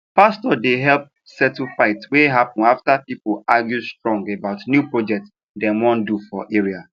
pastor dem help settle fight wey happen after people argue strong about new project dem wan do for area